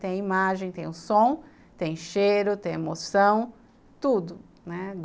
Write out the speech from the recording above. Tem a imagem, tem o som, tem cheiro, tem emoção, tudo, né?